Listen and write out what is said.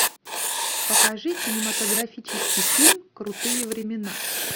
покажи кинематографический фильм крутые времена